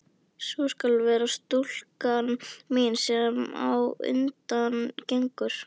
Sú skal vera stúlkan mín, sem á undan gengur.